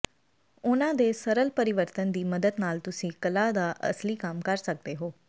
ਉਨ੍ਹਾਂ ਦੇ ਸਰਲ ਪਰਿਵਰਤਨ ਦੀ ਮਦਦ ਨਾਲ ਤੁਸੀਂ ਕਲਾ ਦਾ ਅਸਲੀ ਕੰਮ ਕਰ ਸਕਦੇ ਹੋ